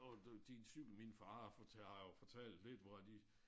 Og du din cykel min far har har jo fortalt lidt hvor at de